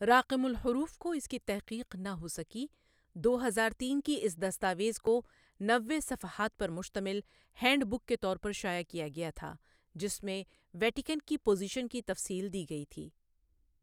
راقم الحروف کو اس کی تحقیق نہ ہوسکی دو ہزار تین کی اس دستاویز کو نوے صفحات پر مشتمل ہینڈ بک کے طور پر شائع کیا گیا تھا جس میں ویٹیکن کی پوزیشن کی تفصیل دی گئی تھی۔